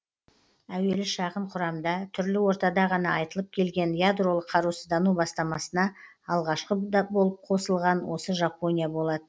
әуелі шағын құрамда түрлі ортада ғана айтылып келген ядролық қарусыздану бастамасына алғашқы болып қосылған да осы жапония болатын